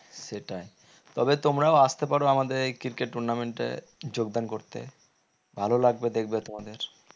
সেটাই তবে তোমরাও আস্তে পারো আমাদের এই cricket tournament এ যোগদান করতে ভালো লাগবে দেখবে তোমাদের